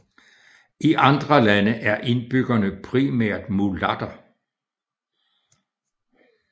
I andre lande er indbyggerne primært mulatter